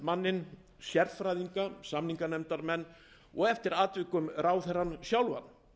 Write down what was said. við aðalsamningamanninn sérfræðinga samninganefndarmenn og eftir atvikum ráðherrann sjálfan